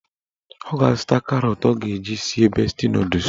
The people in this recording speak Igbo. Ọ ga-azụta karọt ọ ga-eji sie besti nọdụs